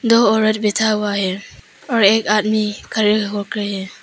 दो औरत बैठा हुआ है और एक आदमी खड़े हो के है।